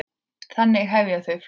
Þannig hefja þau flugið.